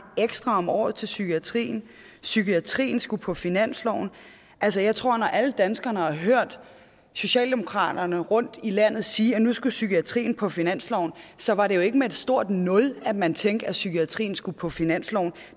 ekstra om året til psykiatrien psykiatrien skulle på finansloven altså jeg tror når alle danskerne har hørt socialdemokraterne rundt i landet sige at nu skulle psykiatrien på finansloven så var det jo ikke med et stort nul at man tænkte at psykiatrien skulle på finansloven